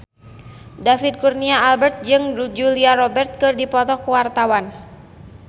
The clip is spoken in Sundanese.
David Kurnia Albert jeung Julia Robert keur dipoto ku wartawan